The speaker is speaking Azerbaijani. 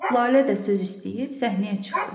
Lalə də söz istəyib səhnəyə çıxdı.